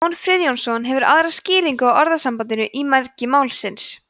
jón friðjónsson hefur aðra skýringu á orðasambandinu í mergi málsins